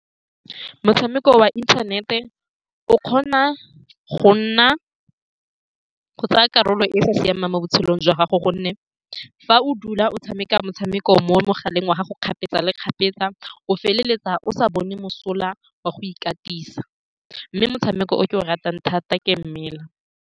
Motshameko wa inthanete o kgona go nna go tsaya karolo e e sa siamang mo botshelong jwa gago, ka gonne fa o dula o tshameka motshameko mo mogaleng wa gago kgapetsa le kgapetsa. O feleletsa o sa bone mosola wa go ikatisa, mme motshameko o ke o ratang thata ke mmela.